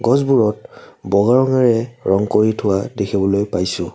গছবোৰত বগা ৰঙেৰে ৰং কৰি থোৱা দেখিবলৈ পাইছোঁ।